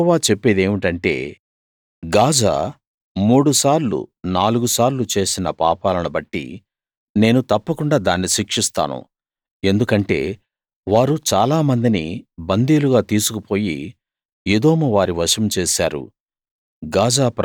యెహోవా చెప్పేదేమిటంటే గాజా మూడుసార్లు నాలుగు సార్లు చేసిన పాపాలను బట్టి నేను తప్పకుండా దాన్ని శిక్షిస్తాను ఎందుకంటే వారు చాలామందిని బందీలుగా తీసుకుపోయి ఎదోము వారి వశం చేశారు